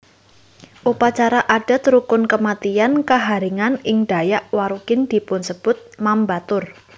Upacara adat rukun kematian Kaharingan ing Dayak Warukin dipunsebut mambatur